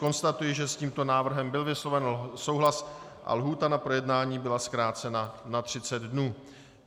Konstatuji, že s tímto návrhem byl vysloven souhlas a lhůta na projednání byla zkrácena na 30 dní.